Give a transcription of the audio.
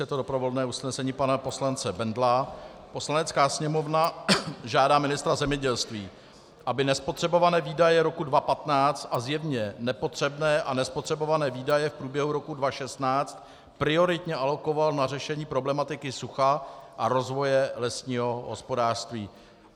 Je to doprovodné usnesení pana poslance Bendla: "Poslanecká sněmovna žádá ministra zemědělství, aby nespotřebované výdaje roku 2015 a zjevně nepotřebné a nespotřebované výdaje v průběhu roku 2016 prioritně alokoval na řešení problematiky sucha a rozvoje lesního hospodářství."